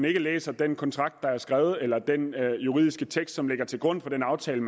ikke læser den kontrakt der er skrevet eller den juridiske tekst som ligger til grund for den aftale